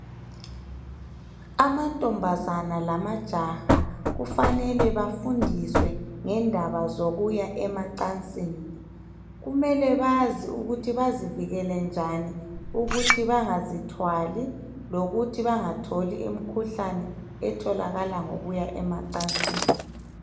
amantombazane lamajaha kufanele bafundiswe ngendaba zokuya emacansini kumele bazi ukuthi bazivikele njani ukuthi bangazithwali lokuthi bangatholi imikhuhlane etholakala ngokuya emacansini